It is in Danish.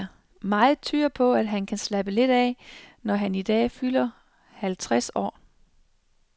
Meget tyder på, at han kan slappe lidt af, når han i dag fylder halvtreds år.